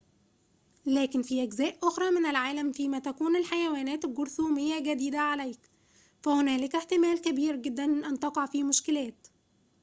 لكن في أجزاء أخرى من العالم فيما تكون الحيوانات الجرثومية جديدة عليك فهنالك احتمال كبير جداً أن تقع في مشكلات